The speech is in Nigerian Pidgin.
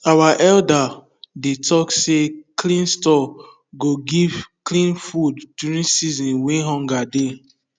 our elders dey talk say clean store go give clean food during season wey hunger go dey